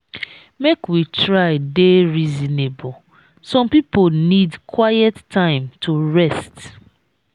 make we try dey reasonable; some pipo need quiet time to rest.